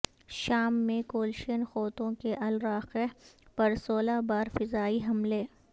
شام میں کولشین قوتوں کے الراقہ پر سولہ بار فضائی حملے